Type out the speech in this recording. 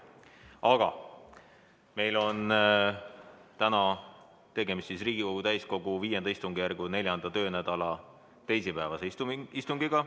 Aga meil on täna tegemist Riigikogu täiskogu V istungjärgu 4. töönädala teisipäevase istungiga.